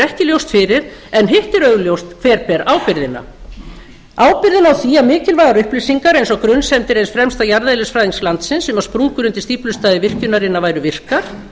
ekki ljóst fyrir en hitt er augljóst hver ber ábyrgðina ábyrgðina á því að mikilvægar upplýsingar eins og grunsemdir eins fremsta jarðeðlisfræðings landsins um að sprungur undir stíflustæði virkjunina væru virkar